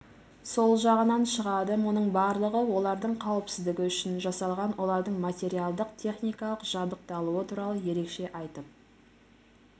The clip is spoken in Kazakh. сол жағынан шығады мұның барлығы олардың қауіпсіздігі үшін жасалған олардың материалдық-техникалық жабдықталуы туралы ерекше айтып